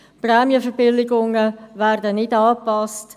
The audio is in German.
Prämienverbilligungen werden nicht angepasst.